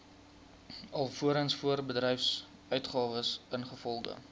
alvorens voorbedryfsuitgawes ingevolge